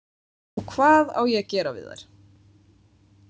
Og hvað á ég að gera við þær?